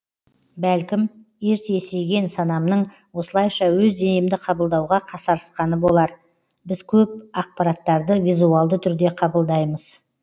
бәлкім ерте есейген санамның осылайша өз денемді қабылдауға қасарысқаны болар біз көп ақпараттарды визуалды түрде қабылдаймыз